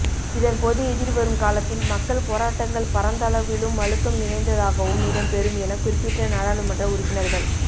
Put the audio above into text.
இதன்போது எதிர்வரும் காலத்தில் மக்கள் போராட்டங்கள் பரந்தளவிலும் அழுத்தம் நிறைந்ததாகவும் இடம்பெறும் என குறிப்பிட்ட நாடாளுமன்ற உறுப்பினர்கள்